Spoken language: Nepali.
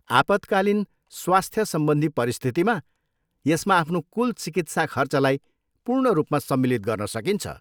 आपतकालीन स्वस्थ सम्बन्धी परिस्थितिमा, यसमा आफ्नो कुल चिकित्सा खर्चलाई पूर्ण रूपमा सम्मिलित गर्न सकिन्छ।